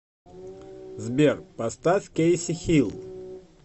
сбер поставь кейси хил